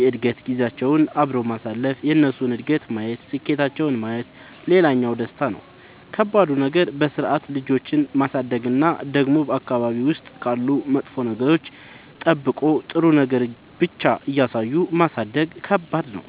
የእድገት ጊዜያቸውን አብሮ ማሳለፍ የእነሱን እድገት ማየት ስኬታቸውን ማየት ሌላኛው ደስታ ነው። ከባዱ ነገር በስርዓት ልጆችን ማሳደግ እና ደግሞ በአካባቢ ውስጥ ካሉ መጥፎ ነገሮች ጠብቆ ጥሩ ነገር ብቻ እያሳዩ ማሳደግ ከባድ ነው።